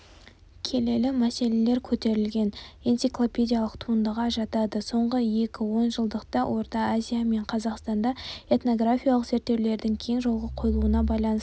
келелі мәселелер көтерілген энциклопедиялық туындыға жатады соңғы екі он жылдықта орта азия мен қазақстанда этнографиялық зерттеулердің кең жолға қойылуына байланысты